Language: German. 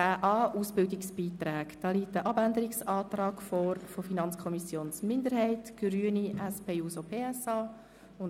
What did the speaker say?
10.a Ausbildungsbeiträge liegt ein Abänderungsantrag der FiKo-Minderheit, der Grünen und der SP-JUSO-PSA-Fraktion vor.